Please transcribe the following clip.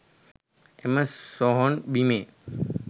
එම සොහොන් බිමේ